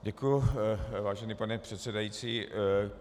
Děkuji, vážení pane předsedající.